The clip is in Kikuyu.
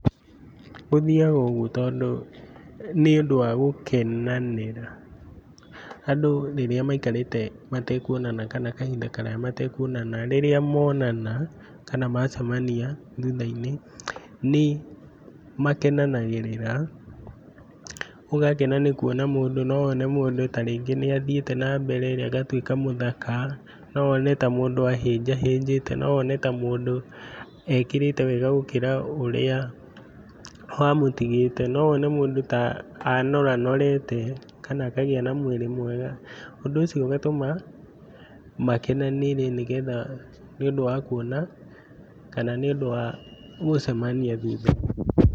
Gũthiaga ũguo tondũ nĩũndũ wa gũkenanĩra, andũ rĩrĩa maikarĩte matekũonana kana kahinda karaya matekũonana, rĩrĩa monana kana macemania thutha-inĩ nĩmakenanagĩrĩra, ũgakena nĩkũona mũndũ, nowone mũndũ tarĩngĩ nĩathiĩte nambere agatuĩka mũthaka, nowone ta mũndũ ahĩnjahĩnjĩte, nowone ta mũndũ ekĩrĩte wega gũkĩra ũrĩa wamũtigĩte, nowone mũndũ ta anoranorete kana akagĩa na mwĩrĩ mwega, ũndũ ũcio ũgatũma makenanĩre nĩgetha, nĩũndũ wa kũona kana nĩũndũ wa gũcemania thutha-inĩ.